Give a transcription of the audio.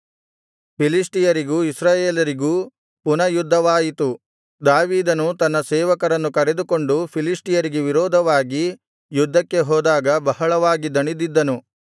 ಫಿಲಿಷ್ಟಿಯರಿಗೂ ಇಸ್ರಾಯೇಲರಿಗೂ ಪುನಃ ಯುದ್ಧವಾಯಿತು ದಾವೀದನು ತನ್ನ ಸೇವಕರನ್ನು ಕರೆದುಕೊಂಡು ಫಿಲಿಷ್ಟಿಯರಿಗೆ ವಿರೋಧವಾಗಿ ಯುದ್ಧಕ್ಕೆ ಹೋದಾಗ ಬಹಳವಾಗಿ ದಣಿದಿದ್ದನು